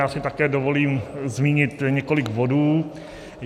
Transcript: Já si také dovolím zmínit několik bodů.